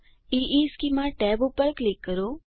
ઇશ્ચેમાં ટેબ પર ક્લિક કરો